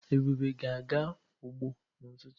Ebube ga-aga ugbo n'ututu.